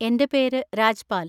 എൻ്റെ പേര് രാജ്‌പാൽ.